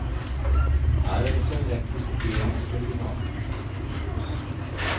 Her er også en rekke kopieringsoriginaler.